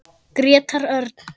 Grétar Örn.